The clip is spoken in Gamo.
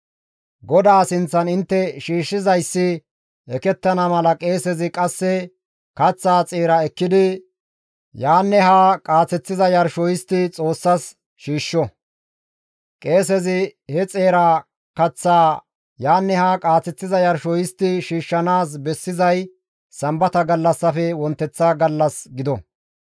GODAA sinththan intte shiishshizayssi ekettana mala qeesezi qasse kaththaa xeeraa ekkidi yaanne haa qaaththiza yarsho histti Xoossas shiishsho; qeesezi he xeera kaththaa yaanne haa qaaseththiza yarsho histti shiishshanaas bessizay Sambata gallassafe wonteththa gallas gido.